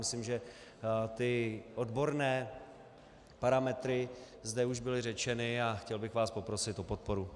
Myslím, že ty odborné parametry zde už byly řečeny, a chtěl bych vás poprosit o podporu.